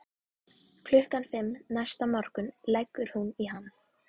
Klukkan fimm næsta morgun leggur hún í hann.